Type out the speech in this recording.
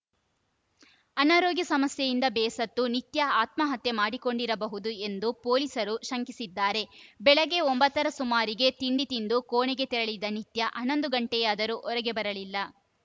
ಅನಾರೋಗ್ಯ ಸಮಸ್ಯೆಯಿಂದ ಬೇಸತ್ತು ನಿತ್ಯಾ ಆತ್ಮಹತ್ಯೆ ಮಾಡಿಕೊಂಡಿರಬಹುದು ಎಂದು ಪೊಲೀಸರು ಶಂಕಿಸಿದ್ದಾರೆ ಬೆಳಗ್ಗೆ ಒಂಬತ್ತರ ಸುಮಾರಿಗೆ ತಿಂಡಿ ತಿಂದು ಕೋಣೆಗೆ ತೆರಳಿದ ನಿತ್ಯಾ ಹನ್ನೊಂದು ಗಂಟೆಯಾದರೂ ಹೊರಗೆ ಬರಲಿಲ್ಲ